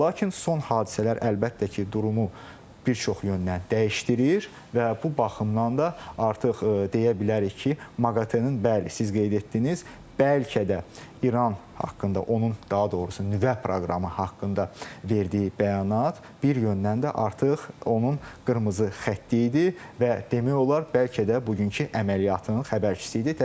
Lakin son hadisələr əlbəttə ki, durumu bir çox yöndən dəyişdirir və bu baxımdan da artıq deyə bilərik ki, MAQATE-nin bəli, siz qeyd etdiniz, bəlkə də İran haqqında, onun daha doğrusu nüvə proqramı haqqında verdiyi bəyanat bir yöndən də artıq onun qırmızı xətti idi və demək olar bəlkə də bugünkü əməliyyatın xəbərçisi idi.